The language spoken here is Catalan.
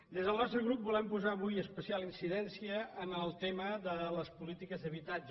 des del nostre grup volem posar avui especial incidència en el tema de les polítiques d’habitatge